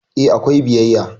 E, akwai biyayya.